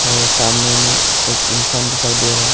और सामने में एक इंसान दिखाई दे रहा--